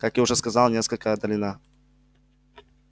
как я уже сказал несколько отдалена